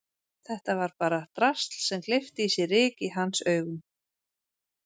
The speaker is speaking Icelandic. Þetta var bara drasl sem gleypti í sig ryk í hans augum.